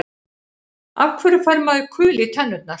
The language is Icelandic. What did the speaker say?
Af hverju fær maður kul í tennurnar?